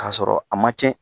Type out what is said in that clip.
A y'a sɔrɔ a ma ciɛn.